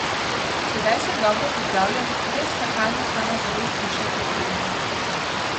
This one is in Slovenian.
Sedaj sem dobro pripravljen, le skakalna samozavest bo še potrebna.